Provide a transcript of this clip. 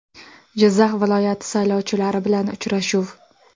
Jizzax viloyati saylovchilari bilan uchrashuv.